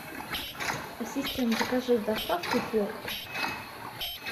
ассистент закажи с доставкой хлорку